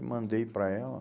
mandei para ela...